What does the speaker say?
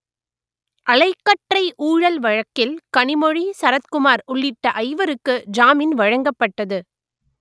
அலைக்கற்றை ஊழல் வழக்கில் கனிமொழி சரத்குமார் உள்ளிட்ட ஐவருக்கு ஜாமின் வழங்கப்பட்டது